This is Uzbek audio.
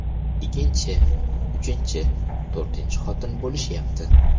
Ikkinchi, uchinchi, to‘rtinchi xotin bo‘lishyapti.